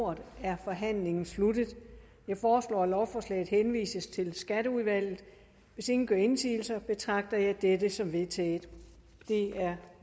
ordet er forhandlingen sluttet jeg foreslår at lovforslaget henvises til skatteudvalget hvis ingen gør indsigelse betragter jeg dette som vedtaget det er